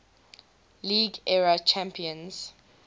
league era champions